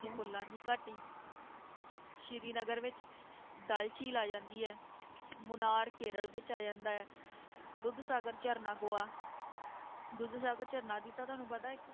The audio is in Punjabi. ਫੁੱਲਾਂ ਦੀ ਘਾਟੀ ਸ੍ਰੀ ਨਗਰ ਵਿੱਚ ਡੱਲ ਝੀਲ ਆ ਜਾਂਦੀ ਹੈ, ਮੁਨਾਰ ਕੇਰਲ ਵਿੱਚ ਆ ਜਾਂਦਾ ਹੈ, ਦੁੱਧ ਸ਼ਾਗਰ ਝਰਨਾ ਗੋਆ ਦੁੱਧ ਸ਼ਾਗਰ ਝਰਨਾ ਦੀ ਤਾਂ ਤੁਹਾਨੂੰ ਪਤਾ ਹੈ ਇੱਕ